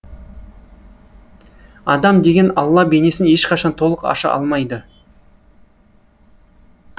адам деген алла бейнесін ешқашан толық аша алмайды